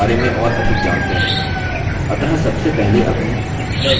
अतः सबसे पहले अपनी resume odt file खोलते हैं